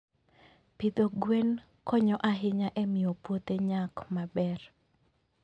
Pidho gwen konyo ahinya e miyo puothe nyak maber.